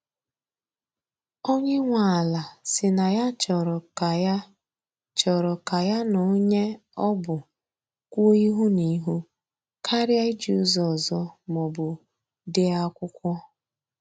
Onye nwe ala si na ya chọrọ ka ya chọrọ ka ya na onye ọ bụ kwuo ihu na ihu karịa iji ụzọ ọzọ ma ọbụ dee akwụkwọ.